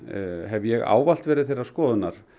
hef ég ávallt verið þeirrar skoðunar